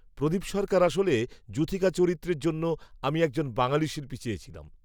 প্রদীপ সরকার আসলে যূথিকা চরিত্রের জন্য আমি একজন বাঙালি শিল্পী চেয়েছিলাম